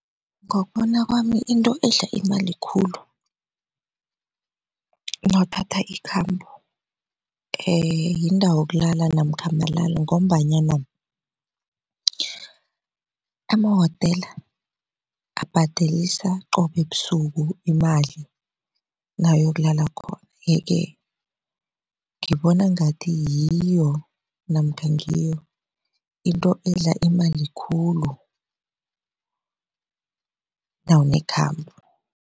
Ngokubona kwami into edla imali khulu nawuthatha ikhambo yindawo yokulala namkha malalo ngombanyana amawotela abhadelelisa qobe busuku imali nawuyokulala khona yeke ngibona ngathi yiyo namkha ngiyo into edla imali khulu nawunekhambo.